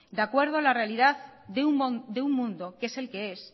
de acuerdo a la realidad de un mundo que es el que es